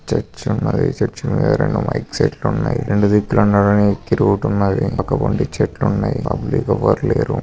Church ఉన్నది church మీద రెండు మైక్ సెట్స్ లు ఉన్నాయి. రెండు దిక్కులు నడవడానికి రూట్ ఉన్నది. పక్క పొంటి చెట్లు ఉన్నాయి. పబ్లిక్ ఎవ్వరు లేరు.